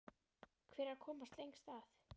Hver er að komast lengst að?